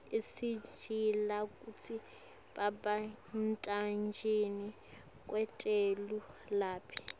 isitjela kutsi babentanjani kwetelu lapha